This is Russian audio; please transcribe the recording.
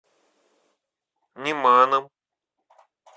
неманом